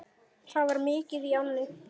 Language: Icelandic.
Það var mikið í ánni.